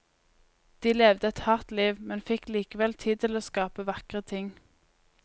De levde et hardt liv, men fikk likevel tid til å skape vakre ting.